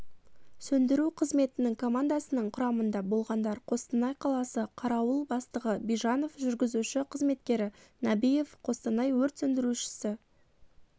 сөндіру қызметінің командасының құрамында болғандар қостанай қаласы қарауыл бастығы бижанов жүргізуші-қызметкері набиев қостанай өрт сөндірушісі